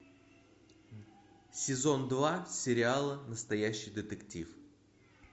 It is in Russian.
сезон два сериала настоящий детектив